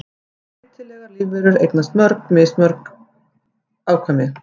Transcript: Breytilegar lífverur eignast mismörg afkvæmi.